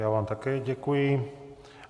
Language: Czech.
Já vám také děkuji.